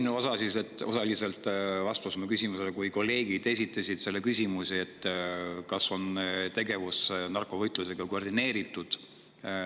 Ma juba sain osaliselt vastuse oma küsimusele, kui kolleegid esitasid küsimuse, kas tegevus narkovõitluses on koordineeritud.